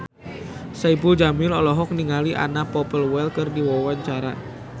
Saipul Jamil olohok ningali Anna Popplewell keur diwawancara